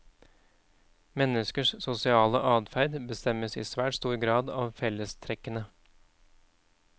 Menneskers sosiale adferd bestemmes i svært stor grad av fellestrekkene.